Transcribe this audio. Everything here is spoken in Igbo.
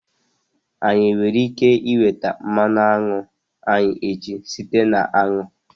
Anyị nwere ike nweta mmanụ aṅụ anyị echi site na aṅụ?